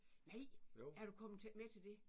Nej! Er du kommet med til det?